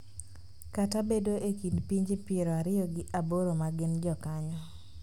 kata bedo e kind pinje piero ariyo gi aboro ma gin jokanyo.